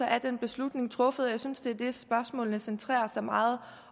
er den beslutning truffet jeg synes at det er det spørgsmålene centrerer sig meget